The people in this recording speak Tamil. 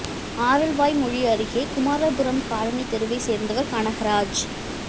ஆரல்வாய்மொழி அருகே உள்ள குமராபுரம் காலனி தெருவைச் சேர்ந்தவர் கனகராஜ்